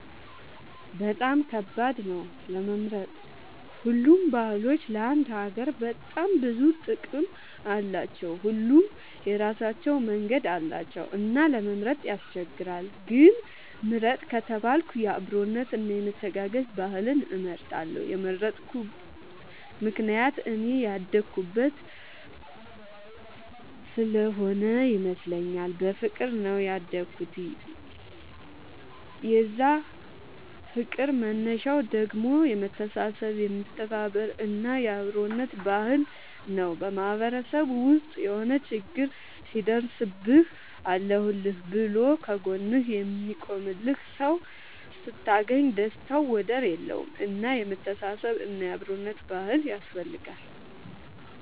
በጣም ከባድ ነው ለመምረጥ ሁሉም ባህሎች ለአንድ ሀገር በጣም ብዙ ጥቅም አላቸው። ሁሉም የራሳቸው መንገድ አላቸው እና ለመምረጥ ያስቸግራል። ግን ምርጥ ከተባልኩ የአብሮነት እና የመተጋገዝ ባህልን እመርጣለሁ የመረጥኩት ምክንያት እኔ ያደኩበት ስሆነ ይመስለኛል። በፍቅር ነው ያደኩት የዛ ፍቅር መነሻው ደግሞ የመተሳሰብ የመተባበር እና የአብሮነት ባህል ነው። በማህበረሰብ ውስጥ የሆነ ችግር ሲደርስብህ አለሁልህ ብሎ ከ ጎንህ የሚቆምልህ ሰው ስታገኝ ደስታው ወደር የለውም። እና የመተሳሰብ እና የአብሮነት ባህል ያስፈልጋል